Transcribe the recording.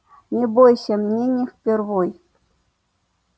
не бойся мне не впервой